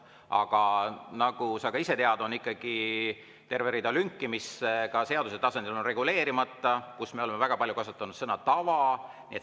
Aga nagu sa ka ise tead, on ikkagi terve rida lünki, mis ka seaduse tasandil on reguleerimata ja mille puhul me oleme väga palju kasutanud sõna "tava".